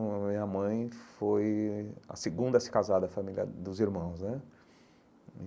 A minha mãe foi a segunda a se casar da família dos irmãos né.